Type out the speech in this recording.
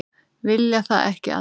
Vilja það ekki allir?